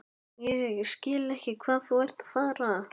Ég skil ekki hvað þú ert að fara.